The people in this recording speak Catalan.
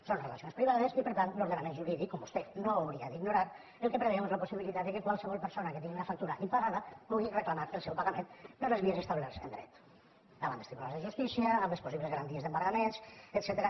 són relacions privades i per tant l’ordenament jurídic com vostè no hauria d’ignorar el que preveu és la possibilitat que qualsevol persona que tingui una factura impagada pugui reclamar el seu pagament per les vies establertes en dret davant dels tribunals de justícia amb les possibles garanties d’embargaments etcètera